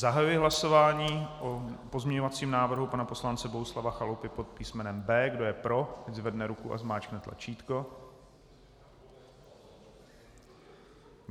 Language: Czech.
Zahajuji hlasování o pozměňovacím návrhu pana poslance Bohuslava Chalupy pod písmenem B. Kdo je pro, ať zvedne ruku a zmáčkne tlačítko.